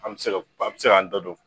An mi se ka a bi se k'a da don